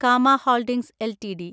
Cama holdings LTD